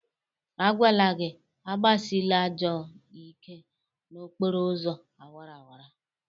A gwala gị agbasịla ajọ ike n'okporo ụzọ awaraawara!